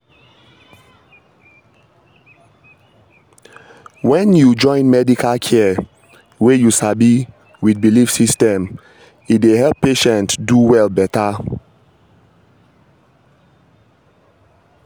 hold on — when you join medical care wey you sabi with belief system e dey help patient do well better.